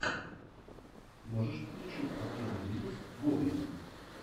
можешь включить последний выпуск гоблина